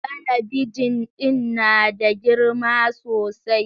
Talabijin din na da girma sosai